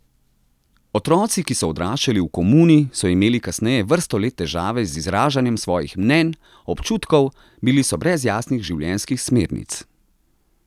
Otroci, ki so odraščali v komuni, so imeli kasneje vrsto let težave z izražanjem svojih mnenj, občutkov, bili so brez jasnih življenjskih smernic.